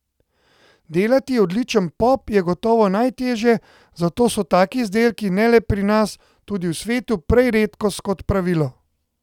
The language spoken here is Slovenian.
Delati odličen pop je gotovo najtežje, zato so taki izdelki, ne le pri nas, tudi v svetu, prej redkost, kot pa pravilo.